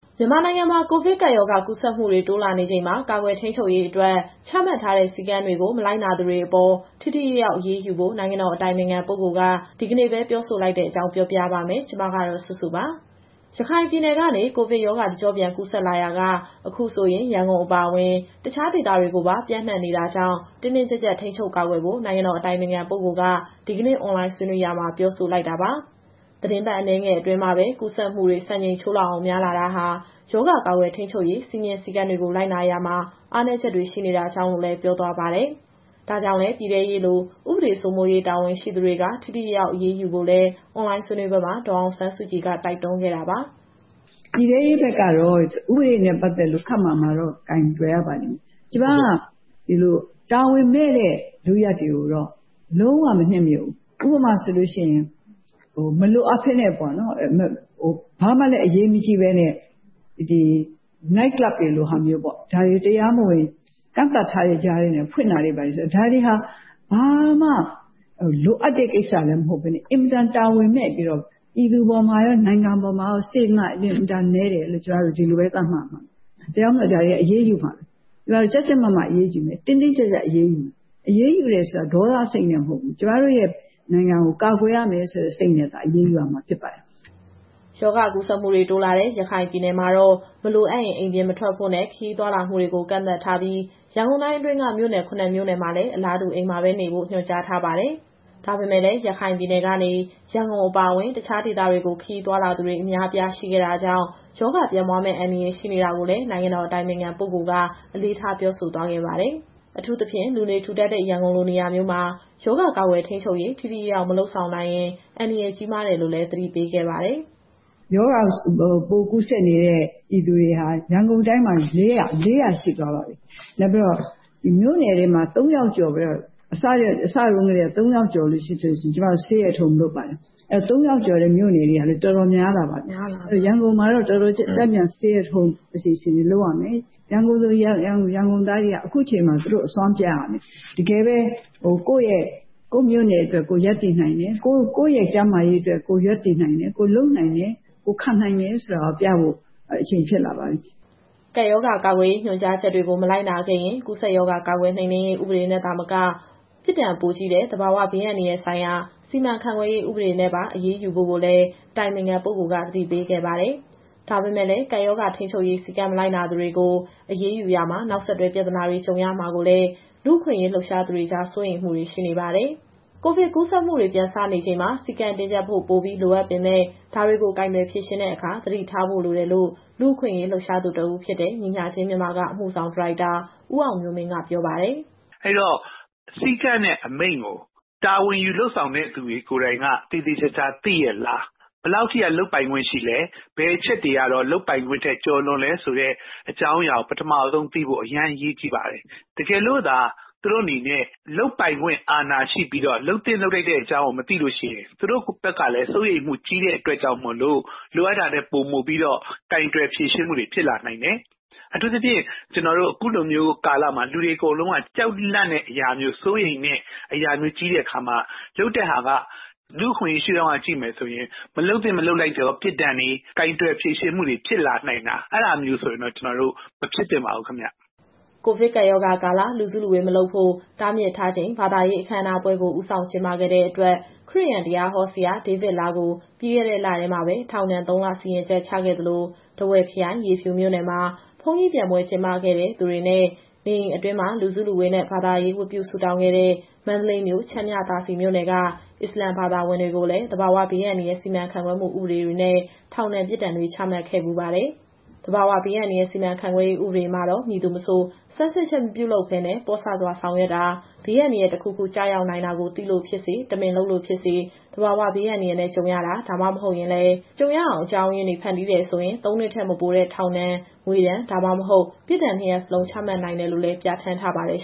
မြန်မာနိုင်ငံမှာ ကိုဗစ်ကပ်ရောဂါ ကူးစက်မှုတွေ တိုးလာနေချိန်မှာ ကာကွယ်ထိန်းချုပ်ရေးအတွက် ချမှတ်ထားတဲ့ စည်းကမ်းတွေကို မလိုက်နာသူတွေအပေါ် ထိထိရောက်ရောက်အရေးယူဖို့ နိုင်ငံတော်အတိုင်ပင်ခံပုဂ္ဂိုလ်က ဒီကနေ့ပဲ ပြောဆိုလိုက်တဲ့အကြောင်း ပြောပြပါမယ်။ ဒီသတင်းကို ဗွီအိုအေမြန်မာပိုင်း သတင်းထောက်စုစုက တင်ဆက်ပေးမှာပါ။ ရခိုင်ပြည်နယ်ကနေ ကိုဗစ်ရောဂါ တကျော့ပြန်ကူးစက်လာရာက အခုဆိုရင် ရန်ကုန်အပါအဝင် တခြားဒေသတွေကိုပါ ပျံ့နှံ့လာနေတာကြောင့် တင်းတင်းကြပ်ကြပ် ထိန်းချုပ်ကာကွယ်ဖို့ နိုင်ငံတော်အတိုင်ပင်ခံပုဂ္ဂိုလ်က ဒီကနေ့ အွန်လိုင်းဆွေးနွေးရာမှာ ပြောဆိုလိုက်တာပါ။ သီတင်းပတ် အနည်းငယ်အတွင်းမှာပဲ ကူးစက်မှုတွေ စံချိန်ချိုးအောင် များလာတာဟာ ရောဂါကာကွယ်ထိန်းချုပ်ရေး စည်းမျဉ်းစည်းကမ်းတွေကို လိုက်နာရာမှာ အားနည်းချက်တွေ ရှိနေတာကြောင့်လို့လည်း ပြောသွားပါတယ်။ ဒါကြောင့်လည်း ပြည်ထဲရေးလို ဥပဒေစိုးမိုးရေး တာဝန်ရှိသူတွေက ထိထိရောက်ရောက် အရေးယူဖို့လည်း အွန်လိုင်းဆွေးနွေးပွဲမှာ ဒေါ်အောင်ဆန်းစုကြည်က တိုက်တွန်းခဲ့တာပါ။ “ပြည်ထဲရေးဘက်ကတော့ ဥပဒေနဲ့ပတ်သက်လို့ ခပ်မာမာတော့ ကိုင်တွယ်ရပါလိမ့်မယ်။ ကျမက ဒီလိုတာဝန်မဲ့တဲ့ လုပ်ရပ်တွေကိုတော့ လုံးဝမနှစ်မြို့ဘူး။ ဥပမာဆိုလို့ရှိရင် မလိုအပ်ပဲနဲ့ပေါ့နော်၊ ဘာမှလည်းအရေးမကြီးပဲနဲ့ ဒီ နိုက်ကလပ်တွေလိုဟာမျိုးပေါ့။ ဒါတွေကို တရားမဝင် ကန့်သတ်ထားတဲ့ကြားထဲကနေ ဖွင့်တာတွေဘာတွေဆို။ ဒါတွေဟာ ဘာမှလိုအပ်တဲ့ကိစ္စလည်း မဟုတ်ပဲနဲ့ အင်မတန်တာဝန်မဲ့ပြီးတော့ ပြည်သူအပေါ်မှာရော နိုင်ငံအပေါ်မှာရော စေတနာအင်မတန်နည်းတယ်လို့ ကျမတို့ဒီလိုပဲ သတ်မှတ်ရမှာပဲ။ ဒါကြောင့်မို့ ဒါတွေဟာ အရေးယူမှာ။ ကျမတို့ကြပ်ကြပ်မတ်မတ် အရေးယူမယ်၊ တင်းတင်းကြပ်ကြပ်အရေးယူမယ်။ အရေးယူတယ်ဆိုတာ ဒေါသစိတ်နဲ့မဟုတ်ဘူး။ ကျမတို့ရဲ့ နိုင်ငံကို ကာကွယ်ရမယ်ဆိုတဲ့စိတ်နဲ့သာ အရေးယူရမှာဖြစ်ပါတယ်။” ရောဂါကူးစက်မှုတွေ တိုးလာတဲ့ ရခိုင်ပြည်နယ်မှာတော့ မလိုအပ်ရင် အိမ်ပြင်မထွက်ဖို့နဲ့ ခရီးသွားလာမှုတွေကို ကန့်သတ်ထားပြီး ရန်ကုန်တိုင်းအတွင်းက မြို့နယ် ၇ မြို့နယ်မှာလည်း အလားတူ အိမ်မှာနေဖို့ ညွှန်ကြားထားပါတယ်။ ဒါပေမဲ့လည်း ရခိုင်ပြည်နယ်ကနေ ရန်ကုန်အပါအဝင် တခြားဒေသတွေကို ခရီးသွားသူတွေ အများအပြား ရှိခဲ့တာကြောင့် ရောဂါပြန့်ပွားမယ့် အန္တရာယ် ရှိနေတာကိုလည်း နိုင်ငံတော် အတိုင်ပင်ခံပုဂ္ဂိုလ်က အလေးထား ပြောဆိုသွားခဲ့တာပါ။ အထူးသဖြင့် လူနေထူထပ်တဲ့ ရန်ကုန်လို နေရာမျိုးမှာ ရောဂါကာကွယ်ထိန်းချုပ်ရေး ထိထိရောက်ရောက် မလုပ်နိုင်ရင် အန္တရာယ်ကြီးမားတယ်လို့လည်း သတိပေးခဲ့ပါတယ်။ “ရောဂါပိုးကူးစက်နေတဲ့ ပြည်သူတွေဟာ ရန်ကုန်တိုင်းမှာ ၄၀၀ ရှိသွားပါပြီ။ နောက်ပြီးတော့ ဒီမြို့နယ်တွေမှာ ၃ယောက်ကျော်ပြီးတော့ အစတုန်းကတည်းက ၃ ယောက်ကျော်လို့ရှိရင် ကျမတို့ Stay at Home လုပ်ပါတယ်။ အဲတော့ ၃ယောက်ကျော်တဲ့မြို့နယ်တွေဟာလည်း တော်တော်များလာပါပြီ။ အဲတော့ ရန်ကုန်မှာတော့ တော်တော်ကျယ်ကျယ်ပြန့်ပြန့် Stay at Home အစီအစဉ်တွေလုပ်ရမယ်။ ရန်ကုန်သူ ရန်ကုန်သားတွေက အခုချိန်မှာ သူတို့အစွမ်းပြရမယ်။ တကယ်ပဲ ကိုယ့်မြို့နယ်အတွက် ကိုယ်ရပ်တည်နိုင်တယ်။ ကိုယ့်ရဲ့ကျန်းမာရေးအတွက် ကိုယ်ရပ်တည်နိုင်တယ်။ ကိုယ်လုပ်နိုင်တယ်။ ကိုယ်ခံနိုင်တယ်ဆိုတာကိုပြဖို့ အချိန်ဖြစ်လာပါပြီ။” ကပ်ရောဂါကာကွယ်ရေး ညွှန်ကြားချက်တွေကို မလိုက်နာခဲ့ရင် ကူးစက်ရောဂါ ကာကွယ်နှိမ်နင်းရေးဥပဒေနဲ့ သာမက ပြစ်ဒဏ်ပိုကြီးတဲ့ သဘာဝဘေးအန္တရာယ်ဆိုင်ရာ စီမံခန့်ခွဲမှုဥပဒေနဲ့ပါ အရေးယူဖို့လည်း အတိုင်ပင်ခံပုဂ္ဂိုလ်က သတိပေးခဲ့ပါတယ်။ ဒါပေမဲ့လည်း ကပ်ရောဂါ ထိန်းချုပ်ရေး စည်းကမ်းမလိုက်နာသူတွေကို အရေးယူရာမှာ နောက်ဆက်တွဲ ပြဿနာတွေ ကြုံရမှာကို လူ့အခွင့်အရေး လှုပ်ရှားသူတွေကြား စိုးရိမ်မှုတွေလည်း ရှိနေပါတယ်။ ကိုဗစ်ကူးစက်မှုတွေ ပြန်စနေချိန်မှာ စည်းကမ်းတင်းကြပ်ဖို့ ပိုပြီးလိုအပ်ပေမဲ့ ဒါတွေကိုကိုင်တွယ်ဖြေရှင်းတဲ့အခါ သတိထားဖို့လိုတယ်လို့ လူ့အခွင့်အရေး လှုပ်ရှားသူတဦးဖြစ်တဲ့ ညီမျှခြင်းမြန်မာက အမှုဆောင်ဒါရိုက်တာ ဦးအောင်မျိုးမင်းက ပြောပါတယ်။ “အဲဒီတော့ စည်းကမ်းနဲ့အမိန့်ကို တာဝန်ယူလုပ်ဆောင်မယ့်သူတွေ ကိုယ်တိုင်ကသေသေချာချာသိရဲ့လား။ ဘယ်လောက်ထိလုပ်ပိုင်ခွင့်ရှိလဲ။ ဘယ်အချက်တွေကတော့ လုပ်ပိုင်ခွင့်ထက်ကျော်လွန်တယ်ဆိုတဲ့ အကြောင်းအရာကို ပထမဦးဆုံးသိဖို့ အရမ်းအရေးကြီးပါတယ်။ တကယ်လို့သာ သူတို့အနေနဲ့ လုပ်ပိုင်ခွင့်အာဏာရှိပြီးတော့ လုပ်သင့်လုပ်ထိုက်တဲ့အကြောင်းကို မသိလို့ရှိရင် သူတို့ဘက်ကလည်း စိုးရိမ်မှုကြီးတဲ့အတွက်ကြောင့်မို့ လိုအပ်တာထက်ပိုမိုပြီးတော့ ကိုင်တွယ်ဖြေရှင်းမှုတွေဖြစ်လာနိုင်တယ်။ အထူးသဖြင့် အခုကာလမှာ လူတွေအကုန်လုံးက ကြောက်လန့်တဲ့အရာမျိုး စိုးရိမ်တဲ့ အရာမျိုးကြီးတဲ့အခါမှာ လုပ်တဲ့ဟာကလူ့အခွင့်အရေးရှုထောင့်က ကြည့်မယ်ဆိုရင် မလုပ်သင့်မလုပ်ထိုက်သောပြစ်ဒဏ်တွေ ကိုင်တွယ်ဖြေရှင်းမှုတွေဖြစ်လာနိုင်တာ အဲဒါမျိုးဆိုရင်တော့ မဖြစ်သင့်ပါဘူးခင်ဗျ။” ကိုဗစ်ကပ်ရောဂါကာလ လူစုလူဝေးမလုပ်ဖို့ တားမြစ်ထားချိန် ဘာသာရေးအခမ်းအနားပွဲကို ဦးဆောင်ကျင်းပခဲ့တဲ့အတွက် ခရစ်ယာန်တရားဟောဆရာ ဒေးဗစ်လားကို ပြီးခဲ့တဲ့လထဲမှာပဲ ထောင်ဒဏ် ၃လ စီရင်ချက်ချခဲ့သလို၊ ထားဝယ်ခရိုင် ရေဖြူမြို့နယ် မှာ ဘုန်းကြီးပျံပွဲ ကျင်းပခဲ့သူတွေနဲ့ နေအိမ်အတွင်း လူစုလူဝေးနဲ့ ဘာသာရေးဝတ်ပြုဆုတောင်းခဲ့တဲ့ မန္တလေးမြို့၊ ချမ်းမြသာစည် မြို့နယ်က အစ္စလာမ်ဘာသာဝင်တွေကို သဘာဝဘေးအန္တရာယ်စီမံခန့်ခွဲမှု ဥပဒေတွေနဲ့ ထောင်ဒဏ်ပြစ်ဒဏ်တွေ ချမှတ်ခဲ့ဖူးပါတယ်။ သဘာဝဘေးအန္တရာယ်စီမံခန့်ခွဲမှု ဥပဒေမှာတော့ ဘယ်သူမဆို ဆန်းစစ်ချက်မပြုလုပ်ဘဲနဲ့ ပေါ့ဆစွာ ဆောင်ရွက်တာ၊ ဘေးအန္တရာယ် တခုခု ကျနိုင်တာကို သိလို့ ဖြစ်စေ တမင်လုပ်လို့ဖြစ်စေ သဘာဝဘေးအန္တရာယ်နဲ့ ကြုံရတာ ဒါမှမဟုတ်ရင်လည်း ကြုံရအောင် အကြောင်းရင်းတွေ ဖန်တီးတယ်ဆိုရင် ၃ နှစ်ထက် မပိုတဲ့ ထောင်ဒဏ်၊ ငွေဒဏ်၊ ဒါမှမဟုတ် ပြစ်ဒဏ် ၂ ရပ်စလုံး ချမှတ်နိုင်တယ်လို့ ပြဌာန်းထားပါတယ်